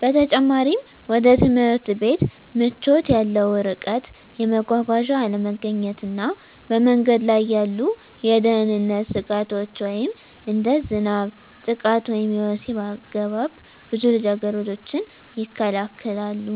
በተጨማሪም፣ ወደ ትምህርት ቤት ምቾት ያለው ርቀት፣ የመጓጓዣ አለመገኘት እና በመንገድ ላይ ያሉ የደህንነት ስጋቶች (እንደ ዝናብ፣ ጥቃት ወይም የወሲብ አገባብ) ብዙ ልጃገረዶችን ይከለክላሉ።